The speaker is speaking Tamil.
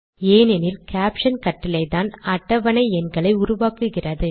ஏனெனில் கேப்ஷன் கட்டளைதான் அட்டவணை எண்களை உருவாக்குகிறது